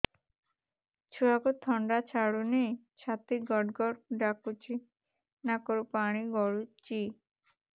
ଛୁଆକୁ ଥଣ୍ଡା ଛାଡୁନି ଛାତି ଗଡ୍ ଗଡ୍ ଡାକୁଚି ନାକରୁ ପାଣି ଗଳୁଚି